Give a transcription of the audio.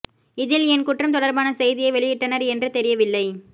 இதில் ஏன் குற்றம் தொடர்பான செய்தியை வெளியிட்டனர் என்று தெரியவில்லை